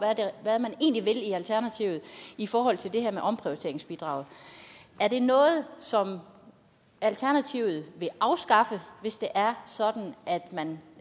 hvad man egentlig vil i alternativet i forhold til det her med omprioriteringsbidraget er det noget som alternativet vil afskaffe hvis det er sådan at man